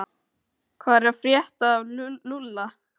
Hvað er að frétta af Lúlla?